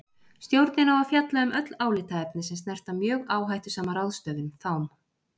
Stjórnin á að fjalla um öll álitaefni sem snerta mjög áhættusama ráðstöfun, þám.